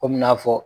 Komi n'a fɔ